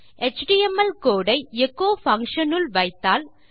HTML code ஐ echo function உள் வைத்தால்